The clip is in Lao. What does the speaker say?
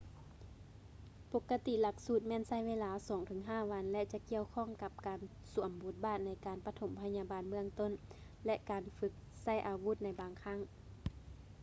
ປົກກະຕິຫຼັກສູດແມ່ນໃຊ້ເວລາ 2-5 ວັນ ແລະ ຈະກ່ຽວຂ້ອງກັບການສວມບົດບາດໃນການປະຖົມພະຍາບານເບື້ອງຕົ້ນ ແລະ ການຝຶກໃຊ້ອາວຸດໃນບາງຄັ້ງ